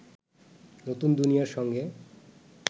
নতুন দুনিয়ার সঙ্গে